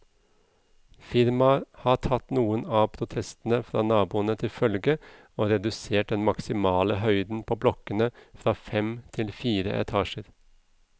Firmaet har tatt noen av protestene fra naboene til følge og redusert den maksimale høyden på blokkene fra fem til fire etasjer.